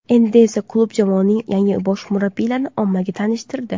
Endi esa klub jamoaning yangi bosh murabbiyini ommaga tanishtirdi.